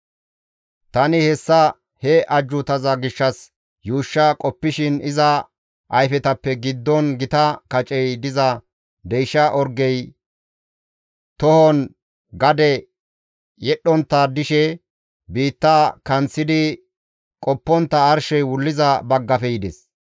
Tani hessa he ajjuutaza gishshas yuushsha qoppishin iza ayfetappe giddon gita kacey diza deysha orgey tohon gade yedhdhontta dishe biitta kanththidi qoppontta arshey wulliza baggafe yides.